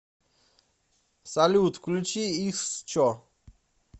салют включи иксчо